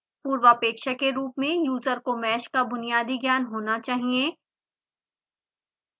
पूर्वापेक्षा के रूप में यूजर को mesh का बुनियादी ज्ञान होना चाहिए